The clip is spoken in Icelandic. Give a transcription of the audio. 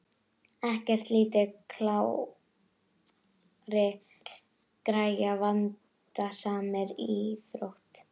Ekkert lítið klárir gæjar í vandasamri íþrótt!